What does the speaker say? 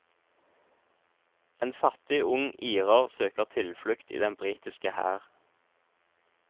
En fattig ung irer søker tilflukt i den britiske hær.